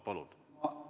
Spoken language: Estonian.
Palun!